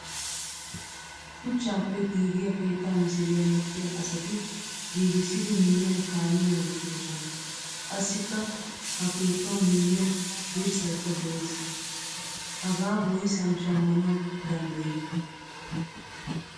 Shuchchappe giigiyaa keetta misiliyaa medhdhiyaa asati giigissidi miyiyan kaamiyaa wottidosona. Qassika ha keettawu miyiyan dirssaykka de'ees. Hagaa woysan shammanawu danddayiyo?